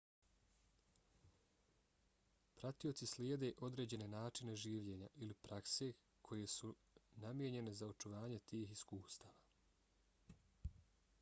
pratioci slijede određene načine življenja ili prakse koje su namijenjene za očuvanje tih iskustava